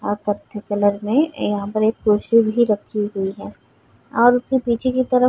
अ कत्थी में कलर में यहाँ पर एक कुर्सी भी रखी हुई हैं और उके पीछे की तरफ --